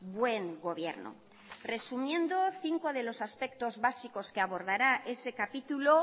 buen gobierno resumiendo cinco de los aspectos básicos que abordará ese capítulo